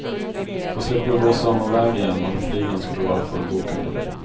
Då slipper du gå samma väg igen, om flygen skulle vara fullbokade.